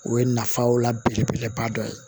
O ye nafaw la belebeleba dɔ ye